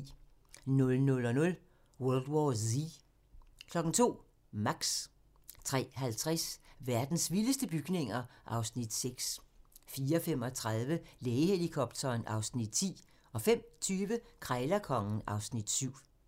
00:00: World War Z 02:00: Max 03:50: Verdens vildeste bygninger (Afs. 6) 04:35: Lægehelikopteren (Afs. 10) 05:20: Krejlerkongen (Afs. 7)